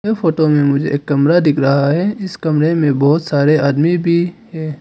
Photo में मुझे एक कमरा दिख रहा है इस कमरे में बहुत सारे आदमी भी है।